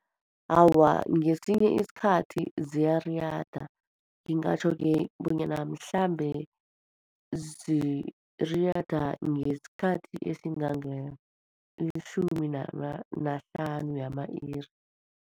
Awa, ngesinye isikhathi ziyariyada. Ngingatjho-ke bonyana mhlambe ziriyada ngesikhathi esingange, litjhumi nahlanu yama-iri.